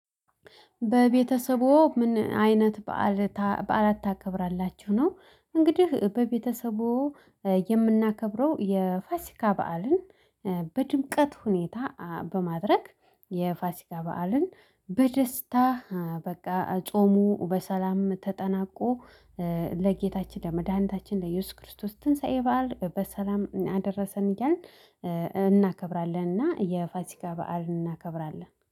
በቤተሰቦ ምን አይነት በዓል በዓላት ታከብራላችሁ ነው? እንግዲህ በቤተሰቦ የምናከብረው የፋሲካ በዓልን በድምቀት ሁኔታ በማድረግ የፋሲካ በዓልን በደስታ በቃ ጾሙ በሰላም ተጠናቆ። ለጌታችን ለመድኃኒታችን ለኢየሱስ ክርስቶስ ትንሳኤ በዓል በሰላም አደረሰን እያልን እናከብራለን እና የፋሲካ በዓል እናከብራለን